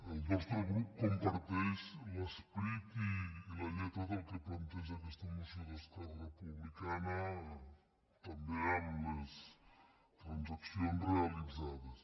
el nostre grup comparteix l’esperit i la lletra del que planteja aquesta moció d’esquerra republicana també amb les transaccions realitzades